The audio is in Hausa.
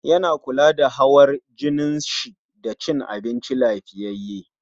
Yana kula da hawar jinin shi da cin abinci lafiyyaye